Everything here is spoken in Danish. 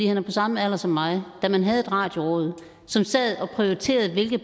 han er på samme alder som mig kan man havde et radioråd som sad og prioriterede hvilke